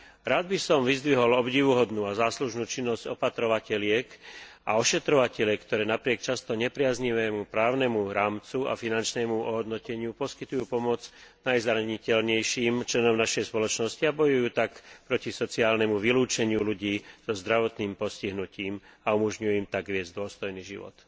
Rád by som vyzdvihol obdivuhodnú a záslužnú činnosť opatrovateliek a ošetrovateliek, ktoré napriek často nepriaznivému právnemu rámcu a finančnému ohodnoteniu poskytujú pomoc najzraniteľnejším členom našej spoločnosti a bojujú tak proti sociálnemu vylúčeniu ľudí so zdravotným postihnutím a umožňujú im tak viesť dôstojný život.